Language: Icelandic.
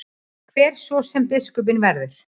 Hver svo sem biskupinn verður.